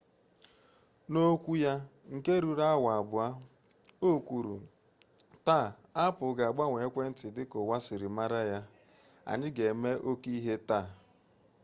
n'okwu ya nke ruru awa 2 o kwuru taa apple ga-agbanwe ekwentị dị ka ụwa si mara ya anyị ga-eme oke ihe taa